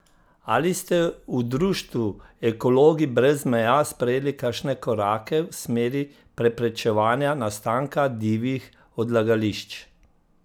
Ali ste v društvu Ekologi brez meja sprejeli kakšne korake v smeri preprečevanja nastanka divjih odlagališč?